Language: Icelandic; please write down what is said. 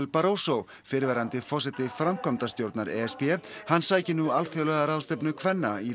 Barroso fyrrverandi forseti framkvæmdastjórnar e s b hann sækir nú alþjóðlega ráðstefnu kvenna í